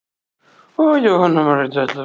Jóhanna Margrét: Ætlarðu að vinna á morgun?